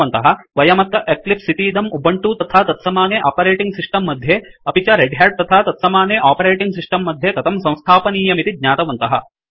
वयमत्र एक्लिप्स इतीदं उबंटु तथा तत्समाने आपरेटिंग सिस्टम मध्ये अपि च रेड ह्याट तथा तत्समाने आपरेटिंग् सिस्टम् मध्ये कथं संस्थापनीयमिति ज्ञातवन्तः